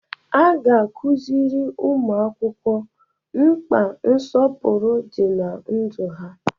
A ga-akụziri ụmụ akwụkwọ mkpa nsọpụrụ dị na ndụ ha.